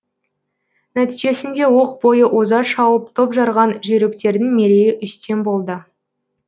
нәтижесінде оқ бойы оза шауып топ жарған жүйріктердің мерейі үстем болды